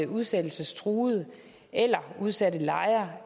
udsættelsestruede eller udsatte lejere